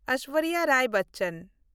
Aishwarya Rai Bachchan